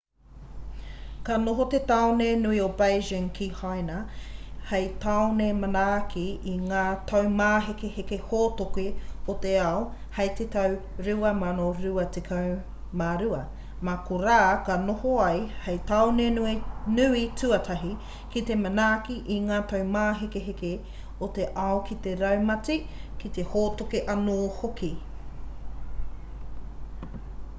ka noho te tāone nui o beijing ki haina hei tāone manaaki i ngā taumāhekeheke hōtoke o te ao hei te tau 2022 mā korā ka noho ia hei tāone nui tuatahi ki te manaaki i ngā taumāhekeheke o te ao ki te raumati ki te hōtoke anō hoki